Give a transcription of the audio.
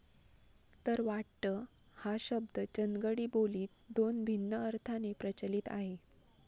तर वाटत हा शब्द चंदगडी बो लीत दोन भिन्न अर्थाने प्रचलित आहे